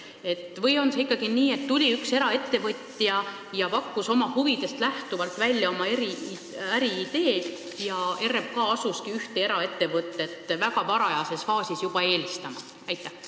Vahest see oli ikkagi nii, et tuli üks eraettevõtja, pakkus oma huvidest lähtuvalt välja oma äriidee ja RMK hakkaski ühte eraettevõtet juba väga varajases faasis eelistama?